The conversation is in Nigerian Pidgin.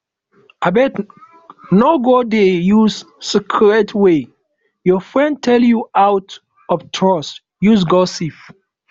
abeg no go dey use secret wey your friend tell you out of trust use gossip